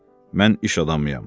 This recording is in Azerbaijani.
Mən iş adamıyam, dedi.